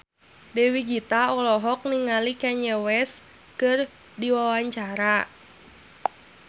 Dewi Gita olohok ningali Kanye West keur diwawancara